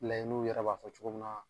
n'u yɛrɛ b'a fɔ cogo min na